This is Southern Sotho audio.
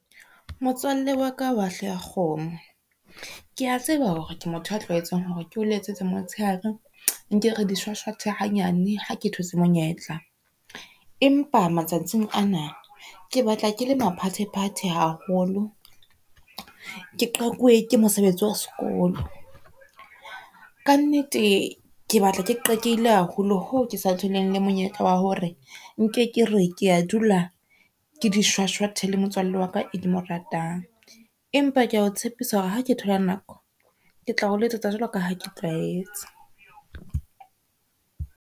Motswalle wa ka wa hlooho ya kgomo, ke a tseba hore ke motho a tlwahetseng hore keo letsetsa motshehare nke re di shwashwathe hanyane ha ke thotse monyetla. Empa matsatsing ana ke batla ke le maphathephathe haholo, ke qakuwe ke mosebetsi wa sekolo. Ka nnete ke batla ke qakeile haholo hoo ke sa tholeng le monyetla wa hore nke ke re ke a dula ke di shwashwathe le motswalle wa ka e ke mo ratang. Empa ke a o tshepisa hore ha ke thola nako ke tla o letsetsa jwalo ka ha ke tlwaetse.